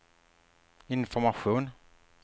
information